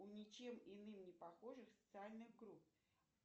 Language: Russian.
у ничем иным не похожих социальных групп